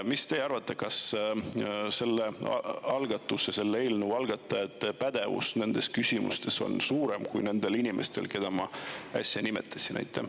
Mis teie arvate, kas selle eelnõu algatajate pädevus nendes küsimustes on suurem kui nendel inimestel, keda ma äsja nimetasin?